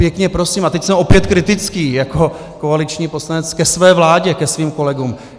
Pěkně prosím, a teď jsem opět kritický jako koaliční poslanec ke své vládě, ke svým kolegům.